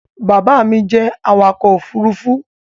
Baba mi jẹ awakọ̀-òfurufú